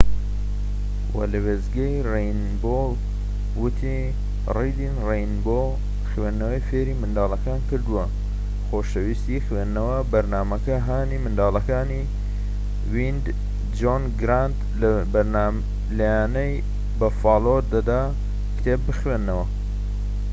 جۆن گرانت لە یانەی بەفالۆ wned ەوە لە وێستگەی رەینبۆ وتی ریدین رەینبۆ خوێندنەوەی فێری منداڵەکان کردووە، خۆشەویستی خوێندنەوە [بەرنامەکە] هانی منداڵەکانی دەدا کتێب بخوێننەوە.